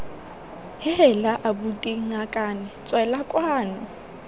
heela abuti ngakane tswela kwano